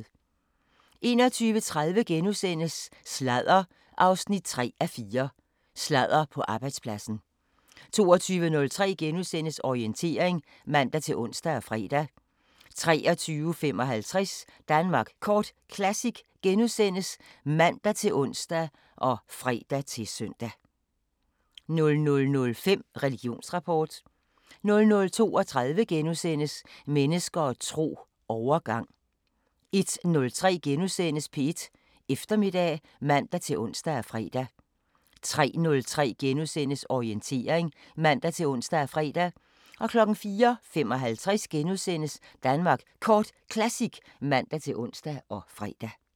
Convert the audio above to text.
21:30: Sladder 3:4: Sladder på arbejdspladsen * 22:03: Orientering *(man-ons og fre) 23:55: Danmark Kort Classic *(man-ons og fre-søn) 00:05: Religionsrapport 00:32: Mennesker og tro: Overgang * 01:03: P1 Eftermiddag *(man-ons og fre) 03:03: Orientering *(man-ons og fre) 04:55: Danmark Kort Classic *(man-ons og fre)